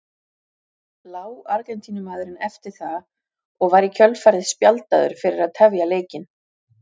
Lá Argentínumaðurinn eftir það og var í kjölfarið spjaldaður fyrir að tefja leikinn.